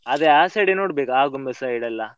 ಅದೆ ಆ side ಎ ನೋಡ್ಬೇಕು ಆಗುಂಬೆ side ಎಲ್ಲ.